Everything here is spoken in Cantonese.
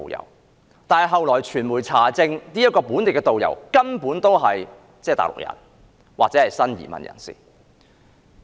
然而，後來傳媒查證，那名"本地導遊"根本是內地人或新移民。